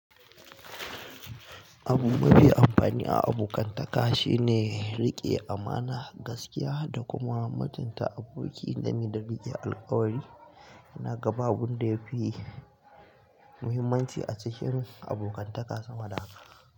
Abu mafi amfani a abokantaka shine riƙe amana, gaskiya da kuma mutunta aboki game fa riƙe alkawari. Ina ga babu wanda yafi muhimmanci a cikin abokantaka sama da haka.